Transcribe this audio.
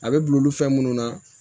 A bɛ bila olu fɛn munnu na